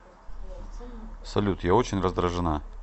салют я очень раздражена